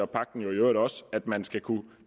pagten jo i øvrigt også at man skal kunne